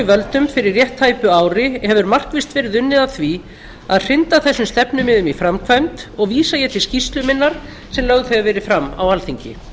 völdum fyrir rétt tæpu ári hefur markvisst verið unnið að því að hrinda þessum stefnumiðum í framkvæmd og vísa ég til skýrslu minnar sem lögð hefur verið fram á alþingi